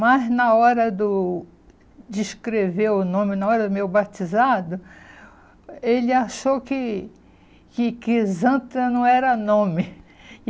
Mas na hora do de escrever o nome, na hora do meu batizado, ele achou que que que Crisanta não era nome.